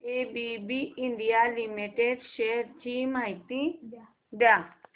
ABB India limited shares ची माहिती द्या